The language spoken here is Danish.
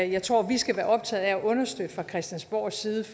jeg tror vi skal være optaget af at understøtte fra christiansborgs side